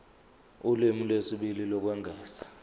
ulimi lwesibili lokwengeza